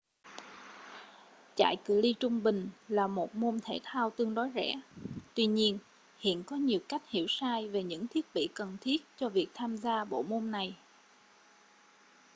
chạy cự ly trung bình là một môn thể thao tương đối rẻ tuy nhiên hiện có nhiều cách hiểu sai về những thiết bị cần thiết cho việc tham gia bộ môn này